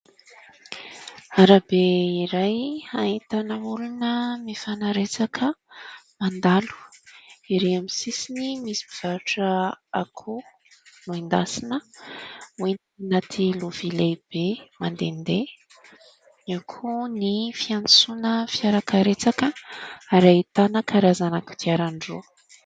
Arabe iray ahitana olona mifanaretsaka mandalo. Ery amin'ny sisiny misy mpivarotra akoho nohendasina hoentina atina lovia lehibe mandehandeha. Io koa ny fiantsoana fiara-karetsaka ary ahitana karazana kodiaran-droa.